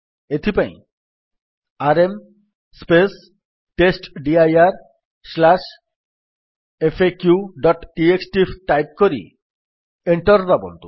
ଏଥିପାଇଁ ଆରଏମ୍ testdirfaqଟିଏକ୍ସଟି ଟାଇପ୍ କରି ଏଣ୍ଟର୍ ଦାବନ୍ତୁ